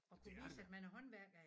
Det er det da